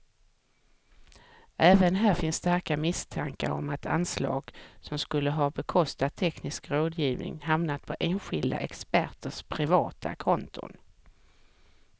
Även här finns starka misstankar om att anslag som skulle ha bekostat teknisk rådgivning hamnat på enskilda experters privata konton.